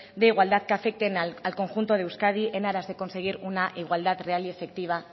de igualdad que afecten al conjunto de euskadi en aras de conseguir una igualdad real y efectiva